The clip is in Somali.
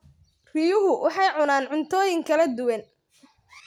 Riyuhu waxay cunaan cuntooyin kala duwan.